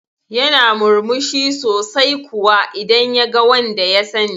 Yana murmushi sosai kuwa idan yaga wanda ya sani